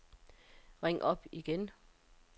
ring op igen